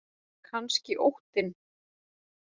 Kannski óttinn.